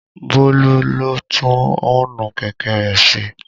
Bólú lọ tún ọ́ǹnù kẹ̀kẹ́ rẹ̀ ṣe